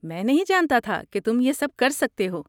میں نہیں جانتا تھا کہ تم یہ سب کر سکتے ہو۔